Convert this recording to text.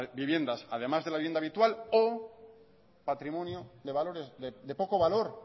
viviendas además de la vivienda habitual o patrimonio de valores de poco valor